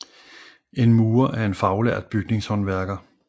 En murer er en faglært bygningshåndværker